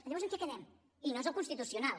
llavors en què quedem i no és el constitucional